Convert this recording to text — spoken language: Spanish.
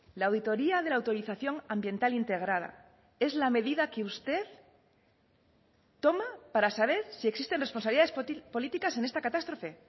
la auditoría de la autorización ambiental integrada es la medida que usted toma para saber si existen responsabilidades políticas en esta catástrofe